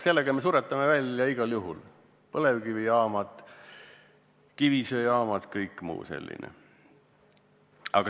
Sellega me suretame igal juhul välja põlevkivijaamad, kivisöejaamad ja kõik muu sellise.